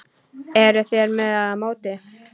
Eruð þér með eða móti?